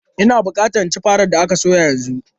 Ina bukata in ci farar da aka soya yanzu!